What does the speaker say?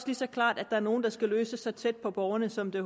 lige så klart at der er nogle der skal løses så tæt på borgerne som det